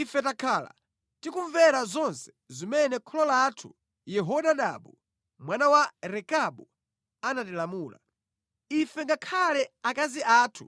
Ife takhala tikumvera zonse zimene kholo lathu Yehonadabu mwana wa Rekabu anatilamula. Ife ngakhale akazi athu